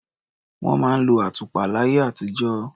Wọ́n máa ń lo àtùpà láyé àtijó.